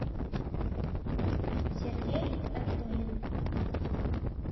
сергей хамидулин